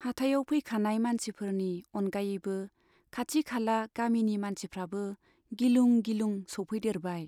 हाथाइयाव फैखानाय मानसिफोरनि अनगायैबो खाथि खाला गामिनि मानसिफ्राबो गिलुं गिलुं सौफैदेरबाय।